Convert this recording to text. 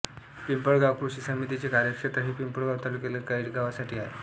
पिंपळगाव कॄषी समितीचे कार्यक्षेत्र हे पिंपळगाव तालुक्यातील काही गावांसाठी आहे